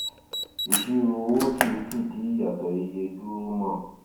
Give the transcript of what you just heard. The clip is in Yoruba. ìṣirò owó kìí fìdí ìyàtọ iye dúró mọ